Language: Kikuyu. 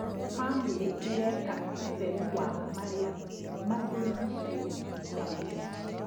Bamĩrĩ ĩreka ũtheru wa marĩa matũrigicĩirie hamwe.